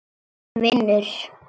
Minn vinur.